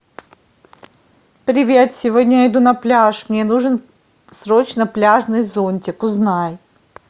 привет сегодня я иду на пляж мне нужен срочно пляжный зонтик узнай